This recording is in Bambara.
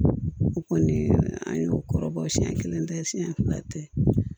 O kɔni an y'o kɔrɔbɔ siɲɛn kelen tɛ siɲɛ fila tɛ